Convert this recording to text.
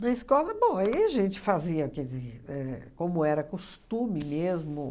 Na escola, bom, aí a gente fazia, quer dizer, éh como era costume mesmo.